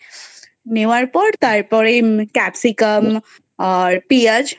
নেওয়ার পরে তারপরে Capsicam আর পেয়াজ